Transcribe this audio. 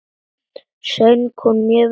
Söng hún mjög vel.